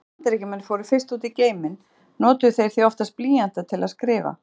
Þegar Bandaríkjamenn fóru fyrst út í geiminn notuðu þeir því oftast blýanta til að skrifa.